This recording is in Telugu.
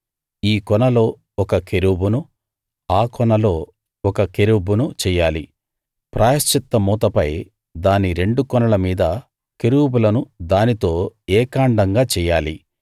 ఈ కొనలో ఒక కెరూబును ఆ కొనలో ఒక కెరూబును చెయ్యాలి ప్రాయశ్చిత్త మూతపై దాని రెండు కొనల మీద కెరూబులను దానితో ఏకాండంగా చెయ్యాలి